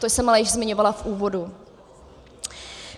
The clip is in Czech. To jsem ale již zmiňovala v úvodu.